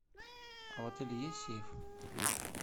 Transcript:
а в отеле есть сейф